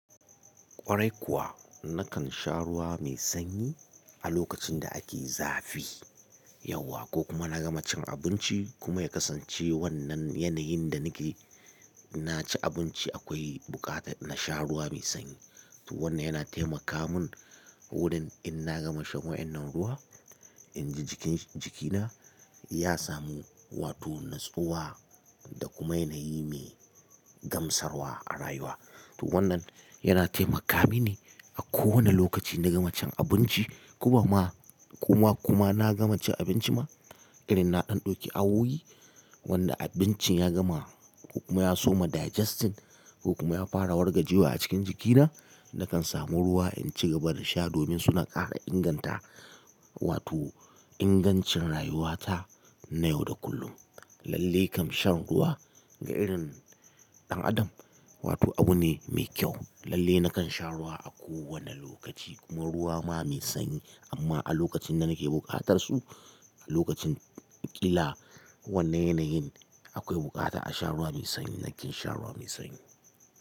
Kwarai kuwa, nakan sha ruwa mai sanyi a lokacin da ake zafi yauwa ko kuma na gama cin abinci kuma ya kasance wannan yanayin da nake, na ci abinci akwai buƙata na sha ruwa mai sanyi. To wannan yana taimaka mun wurin in na gama shan wa'inan ruwa, in ji jiki-jikina ya samu wato natsuwa da kuma yanayi mai gamsarwa a rayuwa. To wannan yana taimaka mini a kowane lokaci na gama cin abinci kuma ma, kuma kuma na gama cin abinci ma, irin na ɗan ɗauki awoyi wanda abincin ya gama kuma ya soma digestion kuma ya fara wargajewa a cikin jikina, nakan samu ruwa in ci gaba da sha domin suna ƙara inganta wato ingancin rayuwata na yau da kullum. Lalle kan shan ruwa ga irin ɗan adam wato abu ne mai kyau. Lalle nakan sha ruwa a kowane lokaci kuma ruwa ma mai sanyi amma a lokacin da nake buƙatar su, a lokacin ƙila wannan yanayin akwai buƙata a sha ruwa mai sanyi nake sha ruwa mai sanyi.